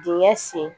Dingɛ sen